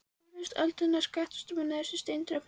Mér finnst öldurnar skvettast upp á neðstu steintröppurnar.